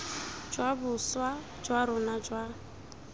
jwa boswa jwa rona jwa